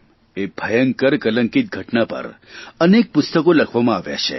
એ ભયંકર કલંકિત ઘટના પર અનેક પુસ્તકો લખવામાં આવ્યાં છે